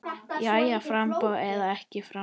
Jæja framboð eða ekki framboð?